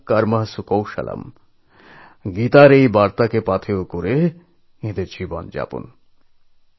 যোগঃ কর্মসু কৌশলম্ গীতার এই বার্তাকে অনুসরণ করেই তাঁরা বাঁচেন